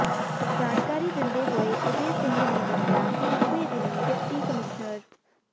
ਜਾਣਕਾਰੀ ਦਿੰਦੇ ਹੋਏ ਉਦੇ ਸਿੰਘ ਨੇ ਦੱਸਿਆ ਕਿ ਪਿਛਲੇ ਦਿਨੀ ਡਿਪਟੀ ਕਮਿਸ਼ਨ ਫ